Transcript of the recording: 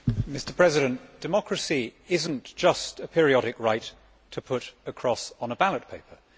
Mr President, democracy is not just a periodic right to put a cross on a ballot paper.